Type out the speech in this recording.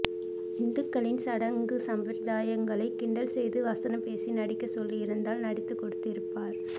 இந்துக்களின் சடங்கு சம்பிரதாயங்களை கிண்டல் செய்து வசனம் பேசி நடிக்க செல்லியிருந்தால் நடித்து கொடுத்துஇருப்பார்